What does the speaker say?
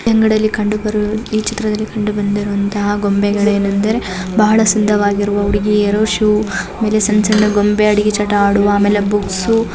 ಈ ಅಂಗಡಿಯಲ್ಲಿ ಕಂಡು ಬರು ಈ ಚಿತ್ರದಲ್ಲಿ ಕಂಡುಬಂದಿರುವಂತಹ ಗೊಂಬೆಗಳು ಏನೆಂದರೆ ಬಹಳ ಸುಂದರ ವಾಗಿರುವ ಹುಡುಗಿಯರು ಷೂ ಮೇಲೆ ಸಂಚನ ಗೊಂಬೆ ಅಡಿಗೆ ಚಟ ಆಡುವ ಆಮೇಲೆ ಬುಕ್ಸ್